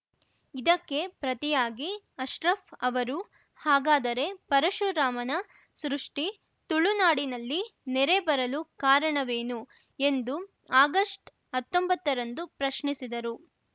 ಇದಕ್ಕೆ ಪ್ರತಿಯಾಗಿ ಅಶ್ರಫ್‌ ಅವರು ಹಾಗಾದರೆ ಪರಶುರಾಮನ ಸೃಷ್ಟಿ ತುಳು ನಾಡಿನಲ್ಲಿ ನೆರೆ ಬರಲು ಕಾರಣವೇನು ಎಂದು ಆಗಷ್ಟ್ಹತ್ತೊಂಬತ್ತರಂದು ಪ್ರಶ್ನಿಸಿದರು